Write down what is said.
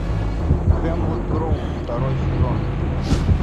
хемлок гроув второй сезон